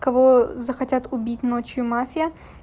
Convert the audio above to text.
кого захотят убить ночью мафия